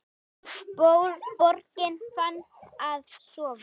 Borgin farin að sofa.